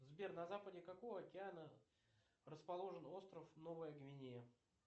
сбер на западе какого океана расположен остров новая гвинея